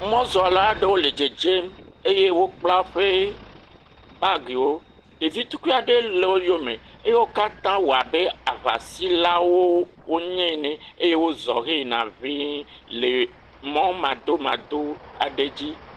Mɔzɔla aɖewo le dzedzem eye wokpla woƒe bagiwo. Ɖevi tukuiwo le woyome eye wo katã wɔ abe aŋasilawo wonye ene. Eye wozɔ heyina ŋɛ̃ii le mɔmadomado aɖe dzi.